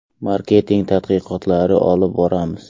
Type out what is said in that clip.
Marketing tadqiqotlari olib boramiz.